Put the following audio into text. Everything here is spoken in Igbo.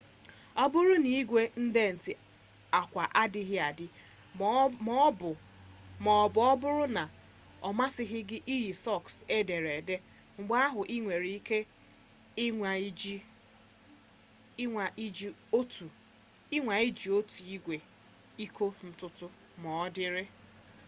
ọ bụrụ na igwe ndetị akwa adịghị adị ma ọ bụ ọ bụrụ na ọ masịghị gị iyi sọks edere ede mgbe ahụ ị nwere ike ịnwa iji otu igwe ịkọ ntutu ma ọ dịrị